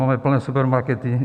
Máme plné supermarkety.